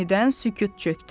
Yenidən sükut çökdü.